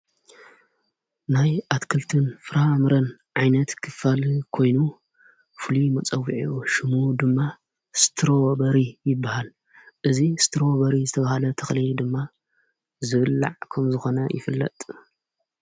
ናይ ኣትክልትን ፍራ ምረን ዓይነት ክፋል ኮይኑ ፍሉይ መጸዊዐ ሹሙ ድማ ስትሮ በሪ ይበሃል እዙ ስትሮ በሪ ዝተብሃለ ተኽልየ ድማ ዘብላዕ ኾም ዝኾነ ይፍለጥ።